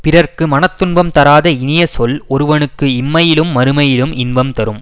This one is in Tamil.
பிறர்க்கு மன துன்பம் தராத இனிய சொல் ஒருவனுக்கு இம்மையிலும் மறுமையிலும் இன்பம் தரும்